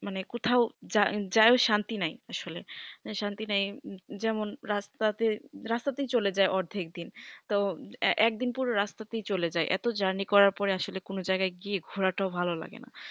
মানে কোথাউ যাইও শান্তি নাই আসলে শান্তি নাই যেমন রাস্তাতে রাস্তাতেই চলে যাই অর্ধেক দিন তো একদিন পুরো রাস্তাতেই চলে যাই এত journey করার পরে আসলে গিয়ে আর ঘোরা টাও ভাল লাগে না